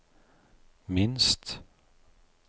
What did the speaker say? minst